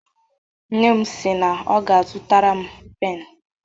Nne m si na ọ ga-azụtara m pen.